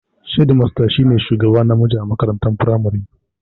Shedimasta shi ne shugaba namiji a makarantar firamare